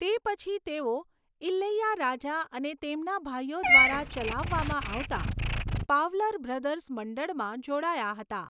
તે પછી તેઓ ઇલૈયારાજા અને તેમના ભાઈઓ દ્વારા ચલાવવામાં આવતા પાવલર બ્રધર્સ મંડળમાં જોડાયા હતા.